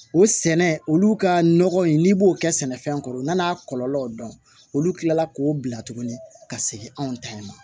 O sɛnɛ olu ka nɔgɔ in n'i b'o kɛ sɛnɛfɛn kɔrɔ u nana kɔlɔlɔw dɔn olu kila la k'o bila tuguni ka segin anw ta in